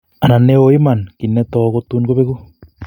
Anan neo iman, kiy netou, kotun kobeku